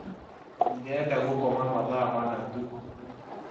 Ndirenda gũkoma mathaa mana tu